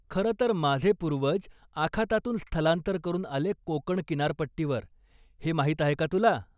खरंतर माझे पूर्वज आखातातून स्थलांतर करून आले कोकण किनारपट्टीवर, हे माहिती आहे का तुला?